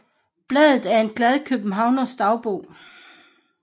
Blade af en glad Københavners Dagbog